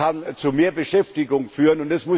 Er kann zu mehr Beschäftigung führen.